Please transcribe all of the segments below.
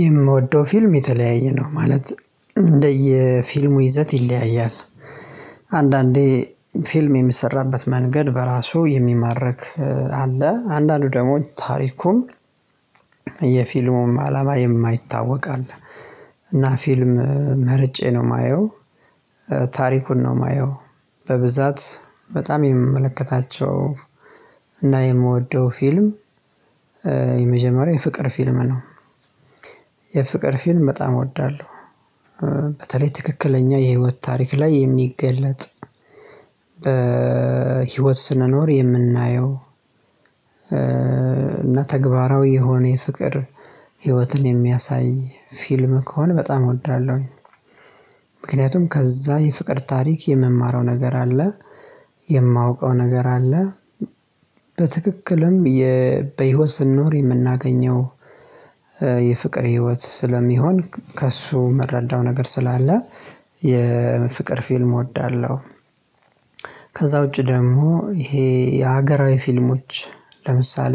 የምወደው ፊልም የተለያየ ነው ማለት እንደየ ፊልሙ ይዘት ይለያያል። አንዳንዴ ፊልም የሚሰራበት መንገድ በራሱ የሚማርክ አለ አንዳንዱ ደግሞ ታሪኩም የፊልሙም አላማ የማይታወቅ አለ። እና ፊልም መርጬ ነው ማየው ታሪኩን ነው ማየው። በብዛት በጣም የምመለከታቸው እና የምወደው ፊልም መጀመሪያ የፍቅር ፊልም ነው። ፊልም በጣም እወዳለሁ። በተለይ ትክክለኛ የህይወት ታሪክ ላይ የሚገለጥ በህይወት ስንኖር የምናየው እና ተግባራዊ የሆነ የፍቅር ህይወትን የሚያሳይ ፊልም ከሆነ በጣም እወዳለሁ። ምክንያቱም ከዛ የፍቅር ታሪክ የምማረው ነገር አለ የማውቀው ነገር አለ። በትክክልም በህይወት ስንኖር የምናገኘው የፍቅር ህይወት ስለሚሆን ከእሱ ምረዳው ነገር ስላለ የፍቅር ፊልም እወዳለሁ። ከዚያ ውጪ ደግሞ ይሄ የሀገራዊ ፊልሞች ለምሳሌ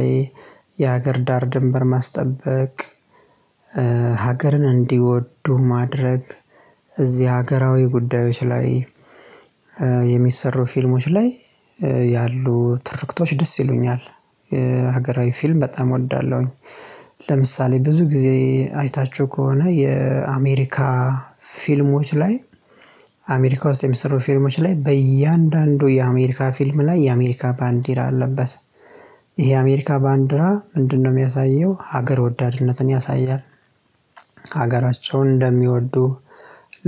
የሀገር ዳር ድንበር ማስጠበቅ ሀገርን እንዲወዱ ማድረግ እዚህ ሀገራዊ ጉዳዮች ላይ የሚሰሩ ፊልሞች ላይ ያሉ ትርክቶች ደስ ይሉኛል። ሀገራዊ ፊልም በጣም እወዳለሁ። ለምሳሌ ብዙ ጊዜ አይታችሁ ከሆነ የአሜሪካ ፊልሞች ላይ አሜሪካ ውስጥ የሚሰሩ ፊልሞች ላይ በእያንዳንዱ የአሜሪካ ፊልም ላይ የአሜሪካ ባንዲራ አለበት። ይሄ የአሜሪካ ባንዲራ ምንድን ነው የሚያሳየው ሀገር ወዳድነትን ያሳያል። ሀገራቸውን እንደሚወዱ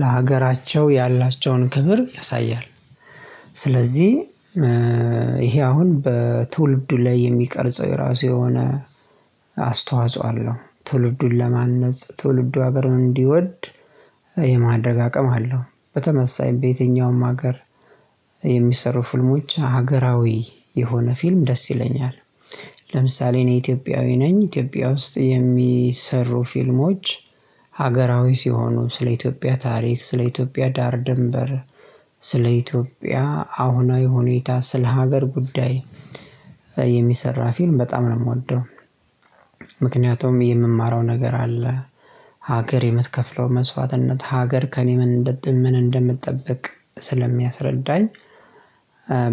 ለሀገራቸው ያላቸውን ክብር ያሳያል። ስለዚህ ይሄ አሁን በትውልዱ ላይ የሚቀርጸው የራሱ የሆነ አስተዋጽኦ አለው ትውልዱን ለማነጽ ትውልዱ ሀገር እንዲወድ የማድረግ አቅም አለው። በተመሳሳይ በየትኛውም ሀገር የሚሰሩ ፍልሞች ሀገራዊ የሆነ ፊልም ደስ ይለኛል። ለምሳሌ እኔ ኢትዮጵያዊ ነኝ ኢትዮጵያ ውስጥ የሚሰሩ ፊልሞች ሀገራዊ ሲሆኑ ስለ ኢትዮጵያ ታሪክ ስለ ኢትዮጵያ ዳር ድንበር ስለ ኢትዮጵያ አሁናዊ ሁኔታ ስለ ሀገር ጉዳይ የሚሰራ ፊልም በጣም ነው ምወደው። ምክንያቱም የምማረው ነገር አለ ሀገር የምትከፍለው መስዋዕትነት ሀገር ከእኔ ምን እንደምትጠብቅ ስለሚያስረዳኝ።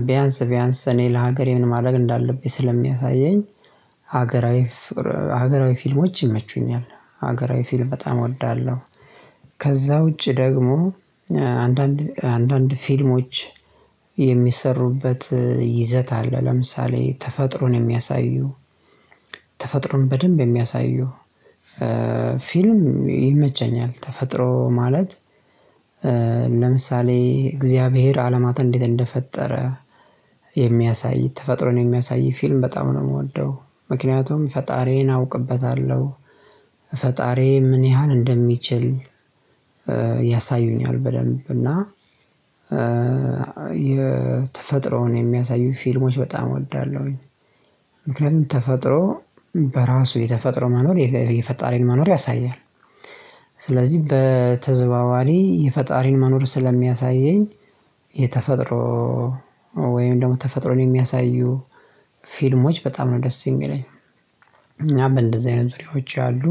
ቢያንስ ቢያንስ እኔ ለሀገሬ ምን ማድረግ እንዳለብኝ ስለሚያሳየኝ። ሀገራዊ ፊልሞች ይመቹኛል ሀገራዊ ፊልም በጣም እወዳለሁ። ከዚያ ውጪ ደግሞ አንዳንድ ፊልሞች የሚሰሩበት ይዘት አለ ለምሳሌ ተፈጥሮን የሚያሳዩ ተፈጥሮን በደንብ የሚያሳዩ ፊልም ይመቸኛል። ተፈጥሮ ማለት ለምሳሌ እግዚአብሔር አለማትን እንዴት እንደፈጠረ የሚያሳይ ተፈጥሮን የሚያሳይ ፊልም በጣም ነው የምወደው። ምክንያቱም ፈጣሪዬን አውቅበታለሁ ፈጣሪዬ ምን ያህል እንደሚችል ያሳዩኛል በደንብ እና የተፈጥሮን የሚያሳዩኝ ፊልሞች በጣም እወዳለሁ። ምክንያቱም ተፈጥሮ በራሱ የተፈጥሮ መኖር የፈጣሪን መኖር ያሳያል። ስለዚህ በተዘዋዋሪ የፈጣሪን መኖር ስለሚያሳየኝ የተፈጥሮ ወይም ደግሞ ተፈጥሮን የሚያሳዩ ፊልሞች በጣም ነው ደስ የሚለኝ። እናም እንደዚህ አይነት ፊልሞች አሉ።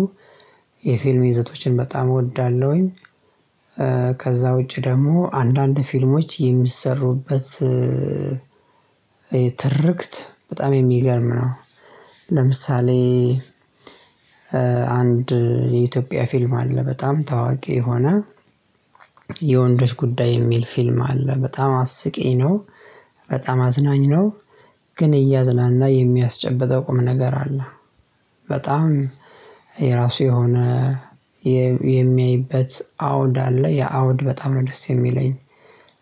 የፊልም ይዘቶችን በጣም እወዳለሁ። ከዚያ ውጪ ደግሞ አንዳንድ ፊልሞች የሚሰሩበት ትርክት በጣም የሚገርም ነው። ለምሳሌ አንድ የኢትዮጵያ ፊልም አለ በጣም ታዋቂ የሆነ የወንዶች ጉዳይ የሚል ፊልም አለ በጣም አስቂ ነው። በጣም አዝናኝ ነው። ግን እያዝናና የሚያስጨበጠው ቁም ነገር አለ። በጣም የራሱ የሆነ የሚያይበት አውድ አለ ያ አውድ በጣም ነው ደስ የሚለኝ።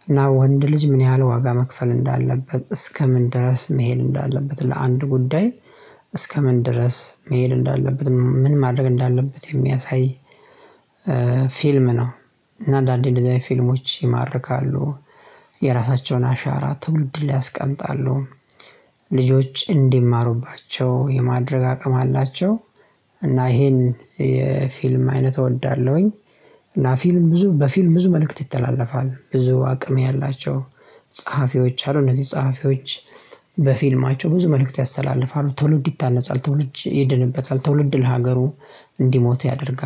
እና ወንድ ልጅ ምን ያህል ዋጋ መክፈል እንዳለበት እስከምን ድረስ መሄድ እንዳለበት ለአንድ ጉዳይ እስከምን ድረስ መሄድ እንዳለበት ምን ማድረግ እንዳለበት የሚያሳይ ፊልም ነው። እና አንዳንዴ እንደዚህ አይነት ፊልሞች ይማርካሉ። የራሳቸውን አሻራ ትውልድ ላይ ያስቀምጣሉ። ልጆች እንዲማሩባቸው የማድረግ አቅም አላቸው። እና ይሄን የፊልም አይነት እወዳለሁ። እና ፊልም ብዙ በፊልም ብዙ መልእክት ይተላለፋል። ብዙ አቅም ያላቸው ጸሐፊዎች አሉ። እነዚህ ጸሐፊዎች በፊልማቸው ብዙ መልእክት ያስተላልፋሉ ትውልድ ይታነጻል ትውልድ ይድንበታል ትውልድ ለሀገሩ እንዲሞት ያደርጋል